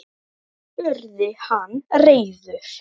spurði hann reiður.